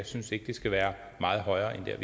synes det skal være meget højere